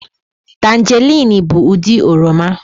Tanjeriin bụ ụdị oroma.